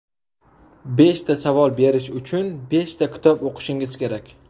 Beshta savol berish uchun beshta kitob o‘qishingiz kerak.